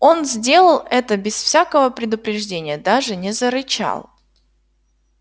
он сделал это без всякого предупреждения даже не зарычал